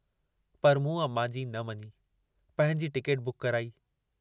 पर मूं अमां जी न मञी, पंहिंजी टिकेट बुक कराई।